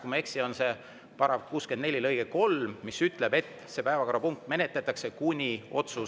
Kui ma ei eksi, on see § 64 lõige 3, mis ütleb, et seda päevakorrapunkti menetletakse kuni otsuseni.